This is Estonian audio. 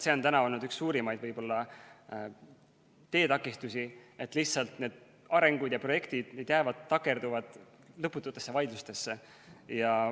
See on olnud üks suurimaid teetakistusi, et projektid lihtsalt takerduvad lõpututesse vaidlustesse.